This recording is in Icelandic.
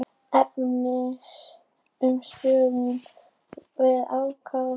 Efins um stuðning við ákæru